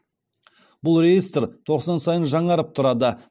бұл реестр тоқсан сайын жаңарып тұрады